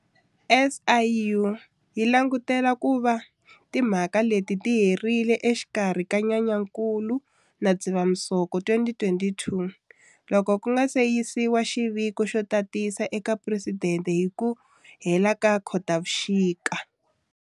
SIU yi langutele ku va timhaka leti ti herile exikarhi ka Nyenyankulu na Dzivamusoko 2022, loko ku nga se yisiwa xiviko xo tatisa eka Presidente hi ku hela ka Khotavuxika.